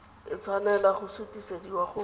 a tshwanela go sutisediwa go